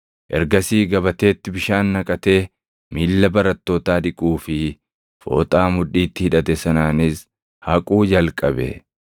Ergasii gabateetti bishaan naqatee miilla barattootaa dhiquu fi fooxaa mudhiitti hidhate sanaanis haquu jalqabe.